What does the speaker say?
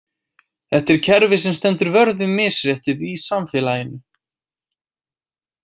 Þetta er kerfi sem stendur vörð um misréttið í samfélaginu.